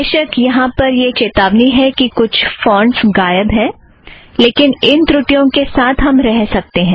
बेशक यहाँ पर यह चेतावनी है कि कुछ फ़ोंटस गायब हैं लेकिन इन त्रुठियों के साथ हम रह सकते हैं